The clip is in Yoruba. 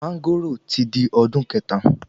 Máńgòrò ti di ọdún kẹta